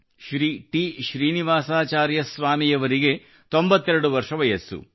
Shri T Srinivasacharya ಸ್ವಾಮಿಯವರಿಗೆ 92 ವರ್ಷ ವಯಸ್ಸು